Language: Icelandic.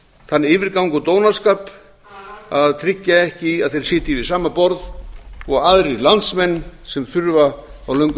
þann yfirgang og dónaskap að tryggja ekki að þeir sitji við sama borð og aðrir landsmenn sem þurfa á löngum